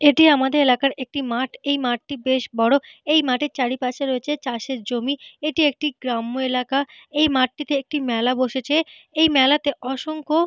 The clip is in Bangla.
এটি আমাদের এলাকার একটি মাঠ। এই মাঠটি বেশ বড়। এই মাঠের চারিপাশে রয়েছে চাষের জমি। এটি একটি গ্রাম্য এলাকা। এই মাঠটিতে একটি মেলা বসেছে। এই মেলাতে অসংখ্য --